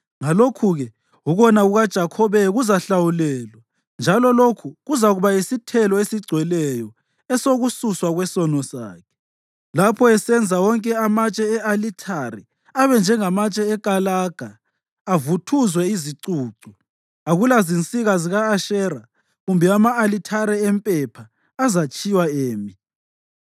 Ngalokhu-ke ukona kukaJakhobe kuzahlawulelwa, njalo lokhu kuzakuba yisithelo esigcweleyo esokususwa kwesono sakhe: Lapho esenza wonke amatshe e-alithare abe njengamatshe ekalaga avuthuzwe izicucu, akulazinsika zika-Ashera kumbe ama-alithare empepha azatshiywa emi.